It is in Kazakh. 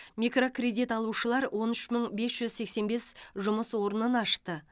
микрокредит алушылар он үш мың бес жүз сексен бес жұмыс орнын ашты